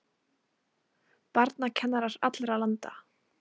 Barnakennarar allra landa!